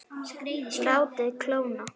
Látið kólna.